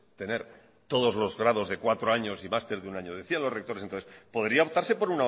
tener todos los grados de cuatro años y máster de un año decían los rectores entonces podría optarse por